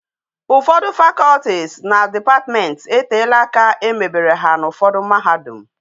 Ufodu faculties na departments e tela aka emebere ha na ufodu mahadum